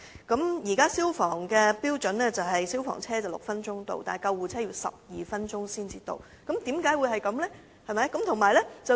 根據消防處現時的標準，消防車須於6分鐘到達現場，而救護車則要12分鐘才可到達，為何會如此？